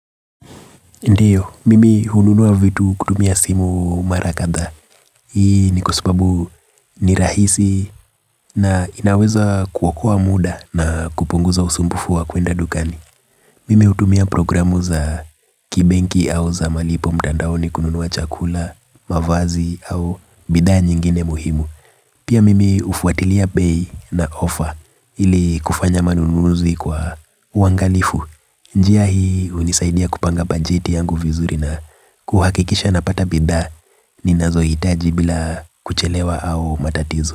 Ndiyo, mimi hununua vitu kutumia simu mara kadhaa. Hii ni kwa sababu ni rahisi na inaweza kuokoa muda na kupunguza usumbufu wa kuenda dukani. Mimi hutumia programu za kibenki au za malipo mtandaoni kununua chakula, mavazi au bidhaa nyingine muhimu. Pia mimi hufuatilia bei na offer ili kufanya manununuzi kwa uangalifu. Njia hii hunisaidia kupanga bajeti yangu vizuri na kuhakikisha napata bidhaa ninazohitaji bila kuchelewa au matatizo.